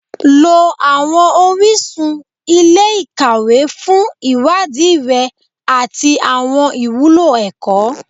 Lọ àwọn orísun ilé-ìkàwé fún ìwádìí rẹ àti àwọn ìwúlò ẹ̀kọ́